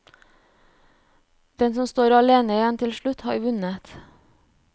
Den som står alene igjen til slutt har vunnet.